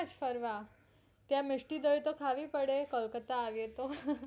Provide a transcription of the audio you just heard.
ફરવા ત્યાં મિષ્ટી દહીં તો ખાવી પડે તો કોલકાતા આવે તો